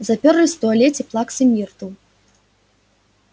заперлись в туалете плаксы миртл